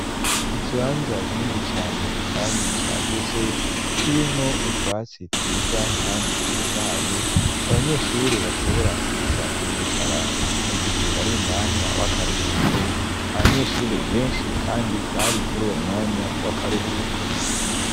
Ikibanza kinini cyane kandi cyagutse kirimwo utwatsi twiza kandi dutotaye abanyeshure bashobora kuza kuhicara mu gihe bari mu mwanya w'akaruhuko abanyeshure benshi kandi bari muri uwo mwanya w'akaruhuko.